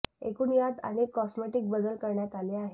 एकूण यात अनेक कॉस्मेटिक बदल करण्यात आले आहे